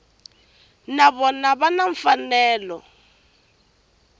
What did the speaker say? na vona va na mfanelo